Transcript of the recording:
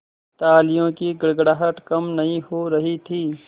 तालियों की गड़गड़ाहट कम नहीं हो रही थी